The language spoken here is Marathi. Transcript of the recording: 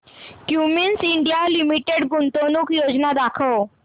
क्युमिंस इंडिया लिमिटेड गुंतवणूक योजना दाखव